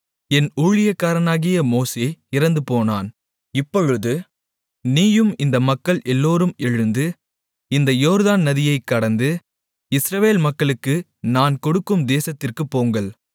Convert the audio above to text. என் ஊழியக்காரனாகிய மோசே இறந்துபோனான் இப்பொழுது நீயும் இந்த மக்கள் எல்லோரும் எழுந்து இந்த யோர்தான் நதியைக் கடந்து இஸ்ரவேல் மக்களுக்கு நான் கொடுக்கும் தேசத்திற்குப் போங்கள்